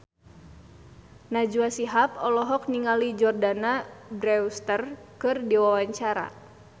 Najwa Shihab olohok ningali Jordana Brewster keur diwawancara